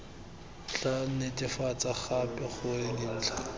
tla netefatsa gape gore dintlha